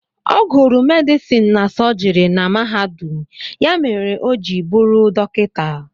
Ọ gụrụ medison na sọjiri na mahadum ya mere o ji bụrụ dọkịta.